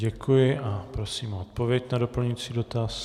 Děkuji a prosím o odpověď na doplňující dotaz.